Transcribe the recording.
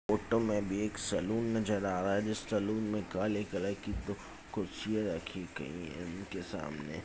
Photo में भी एक सैलून नजर आ रहा है जिस सैलून में काले कलर की दो कुर्सियां रखी गयी है इनके सामने।